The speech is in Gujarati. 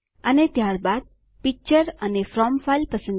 અને ત્યારબાદ પિક્ચર અને ફ્રોમ ફાઇલ પસંદ કરીને